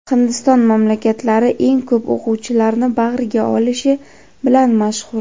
Hindiston maktablari eng ko‘p o‘quvchilarni bag‘riga olishi bilan mashhur.